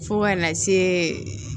Fo kana se